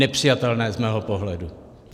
Nepřijatelné z mého pohledu.